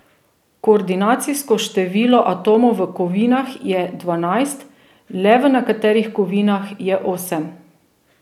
Koordinacijsko število atomov v kovinah je dvanajst, le v nekaterih kovinah je osem.